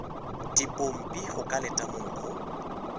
dipompi go ka letamong go